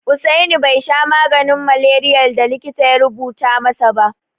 Usaini bai sha maganin maleriyar da likitan ya rubuta masa ba.